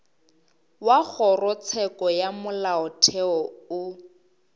wa kgorotsheko ya molaotheo o